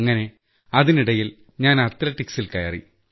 അങ്ങനെ അതിനിടയിൽ ഞാൻ അത്ലറ്റിക്സിൽ കയറി